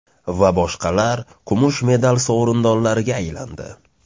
va boshqalar kumush medal sovrindolariga aylandi.